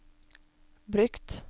brukt